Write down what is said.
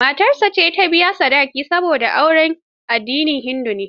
Matar ce ta biya sadaki, saboda auren addinin hindu ne.